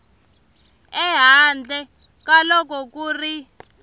ehandle ka loko ku ri